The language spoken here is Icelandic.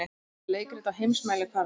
Er þetta leikrit á heimsmælikvarða?